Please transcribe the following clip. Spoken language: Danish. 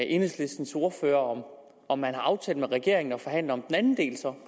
enhedslistens ordfører om man har aftalt med regeringen at forhandle om den anden del